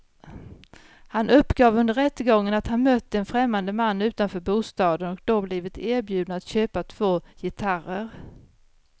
Han uppgav under rättegången att han mött en främmande man utanför bostaden och då blivit erbjuden att köpa två gitarrer.